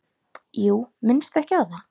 Jú, minnstu ekki á það.